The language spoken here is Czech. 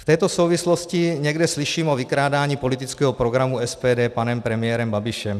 V této souvislosti někde slyším o vykrádání politického programu SPD panem premiérem Babišem.